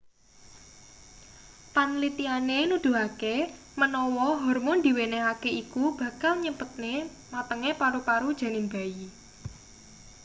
panlitiane nuduhake menawa hormon diwenehake iku bakal nyepetne matenge paru-paru janin bayi